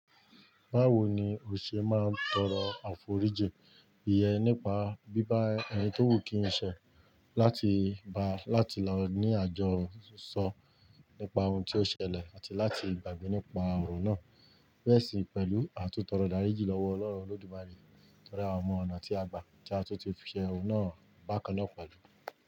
Báwo ni o ṣe máa ń tọrọ àforíjì ìyẹn nípa bíbá ẹni tó wù kí ín ṣẹ láti ba láti lọ ní àjọ sọ nípa ohun tí ó ṣẹlẹ̀ àti láti gbàgbé nípa òrò náà. Bẹ́ẹ̀ sì pẹ̀lú àtúntọrọ ìdáríjì lọ́wọ́ Ọlọ́run Olódùmarè tori àwọn ọ̀nà tí a gbà tí a tún ti fi òhun náà bákan náà pẹ̀lú.